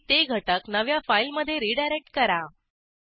आणि ते घटक नव्या फाईलमधे रीडायरेक्ट करा